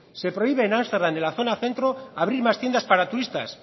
se prohíbe en ámsterdam en la zona centro abrir más tiendas para turistas